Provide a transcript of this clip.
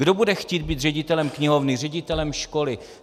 Kdo bude chtít být ředitelem knihovny, ředitelem školy?